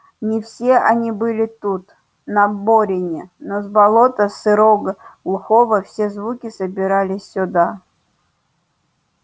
не все они были тут на борине но с болота сырого глухого все звуки собирались сюда